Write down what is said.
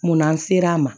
Munna an sera a ma